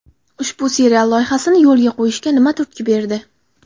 Ushbu serial loyihasini yo‘lga qo‘yishga nima turtki berdi?